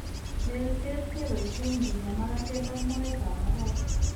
Leelteet kebaiysen kinyaa makatet ak mooyetab mokol.